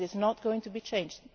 that is not going to be changed.